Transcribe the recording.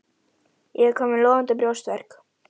Ég er kominn með logandi brjóstverk.